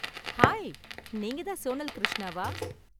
Hi, நீங்க தான் சோனல் கிருஷ்ணாவா?